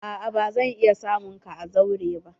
A'a ba zan iya samun ka a zauren ba.